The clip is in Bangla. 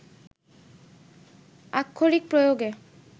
আক্ষরিক প্রয়োগে